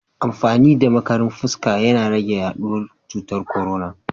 Amfani da makarin fuska na rage yaduwar cutar korona.